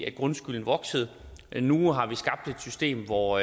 at grundskylden voksede men nu har vi skabt et system hvor